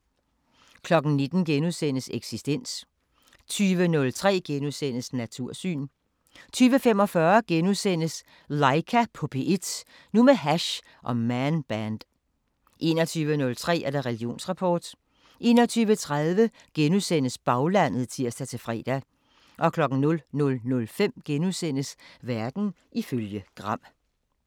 19:00: Eksistens * 20:03: Natursyn * 20:45: Laika på P1 – nu med hash og Man Band * 21:03: Religionsrapport 21:30: Baglandet *(tir-fre) 00:05: Verden ifølge Gram *